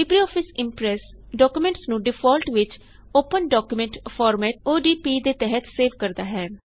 LibreOffice Impress documents ਨੂੰ default ਵਿੱਚ open document format ਦੇ ਤਹਤ ਸੇਵ ਕਰਦਾ ਹੈ